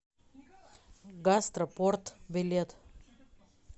гастро порт билет